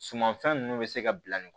Sumanfɛn ninnu bɛ se ka bila nin